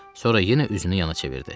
Sonra yenə üzünü yana çevirdi.